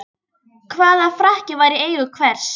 Hvaða frakki var í eigu hvers?